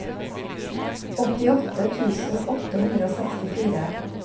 åttiåtte tusen åtte hundre og sekstifire